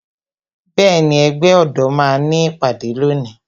Bẹẹni, ẹgbẹ́ ọ̀dọ́ máa ní ìpàdé lónìí